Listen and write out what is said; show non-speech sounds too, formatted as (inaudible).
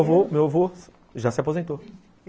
(unintelligible) meu meu avô já se aposentou.